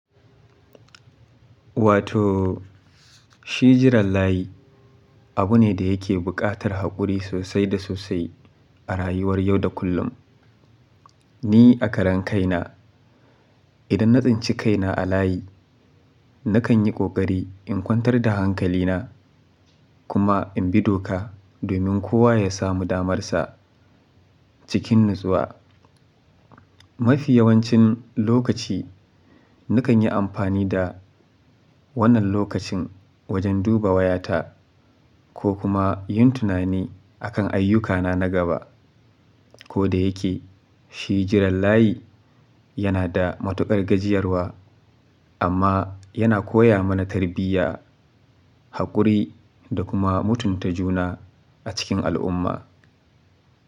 Wato shi jiran layi abu ne da yake buƙatar haƙuri sosai da sosai a rayuwar yau da kullum. Ni a karen kaina, idan na tsinci kaina a layi, nakan yi ƙoƙari in kwantar da hankalina kuma in bi doka domin kowa ya samu damarsa cikin natsuwa. Mafi yawancin lokaci nikan yi amfani da wannan lokacin wajen duba wayata ko kuma yin tunani akan ayyukana na gaba. Ko da yake shi jiran layi yana da matuƙar gajiyarwa amma yana koya mana tarbiyya, haƙuri da kuma mutunta juna a cikin al'umma.